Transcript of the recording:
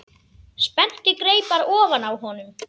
Spennti greipar ofan á honum.